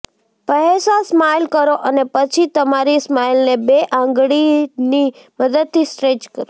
પહેસા smile કરો અને પછી તમારી સ્માઈલને બે આંગળીની મદદથી સ્ટ્રેચ કરો